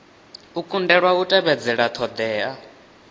u kundelwa u tevhedzela ṱhoḓea